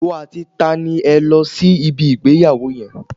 Ìwọ àti ta ni ẹ lọ sí ibi ìgbéyàwó yẹn?